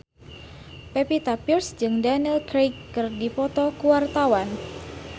Pevita Pearce jeung Daniel Craig keur dipoto ku wartawan